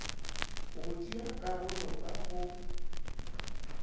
go tšea karolo ka go